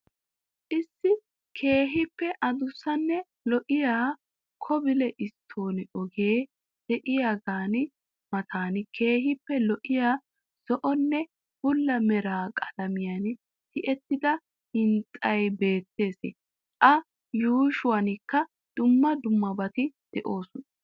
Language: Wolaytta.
Issi keehiippe addussanne lo'iyaa kobile stoonee ogee de'iyaagaa matan keehiippe lo'iya zo'onne bulla mera qalamiyan tiyeettida hintstsay beettees.A yuushshuwanikka dumma dummabaati de'oosona.